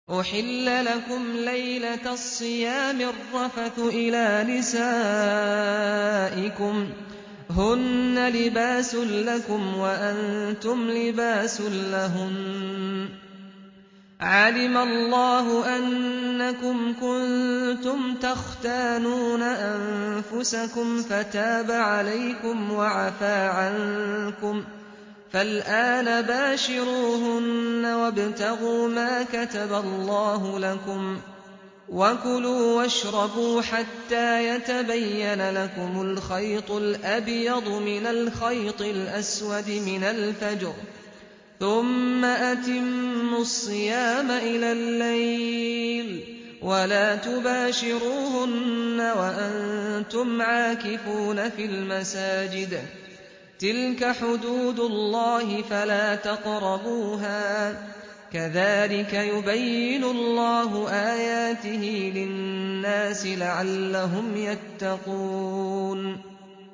أُحِلَّ لَكُمْ لَيْلَةَ الصِّيَامِ الرَّفَثُ إِلَىٰ نِسَائِكُمْ ۚ هُنَّ لِبَاسٌ لَّكُمْ وَأَنتُمْ لِبَاسٌ لَّهُنَّ ۗ عَلِمَ اللَّهُ أَنَّكُمْ كُنتُمْ تَخْتَانُونَ أَنفُسَكُمْ فَتَابَ عَلَيْكُمْ وَعَفَا عَنكُمْ ۖ فَالْآنَ بَاشِرُوهُنَّ وَابْتَغُوا مَا كَتَبَ اللَّهُ لَكُمْ ۚ وَكُلُوا وَاشْرَبُوا حَتَّىٰ يَتَبَيَّنَ لَكُمُ الْخَيْطُ الْأَبْيَضُ مِنَ الْخَيْطِ الْأَسْوَدِ مِنَ الْفَجْرِ ۖ ثُمَّ أَتِمُّوا الصِّيَامَ إِلَى اللَّيْلِ ۚ وَلَا تُبَاشِرُوهُنَّ وَأَنتُمْ عَاكِفُونَ فِي الْمَسَاجِدِ ۗ تِلْكَ حُدُودُ اللَّهِ فَلَا تَقْرَبُوهَا ۗ كَذَٰلِكَ يُبَيِّنُ اللَّهُ آيَاتِهِ لِلنَّاسِ لَعَلَّهُمْ يَتَّقُونَ